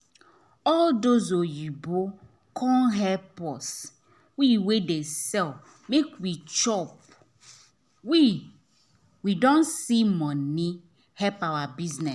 as those oyinbo come help us we wey dey sell make we chop we don see money help our bisuness